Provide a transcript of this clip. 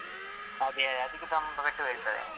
ಅದೇ ಅದಕ್ಕೆ ತುಂಬ ಪೆಟ್ಟು ಬೀಳ್ತದೆ.